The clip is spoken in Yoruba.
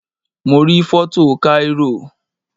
Mo rí foto Cairo